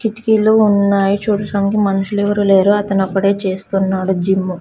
కిటికీలు ఉన్నాయి చూడటానికి మనుషులెవరూ లేరు అతనొక్కడే చేస్తున్నాడు జిమ్ము .